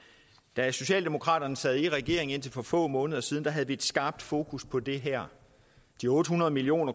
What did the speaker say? da socialdemokraterne sad i regering indtil for få måneder siden havde vi et skarpt fokus på det her de otte hundrede million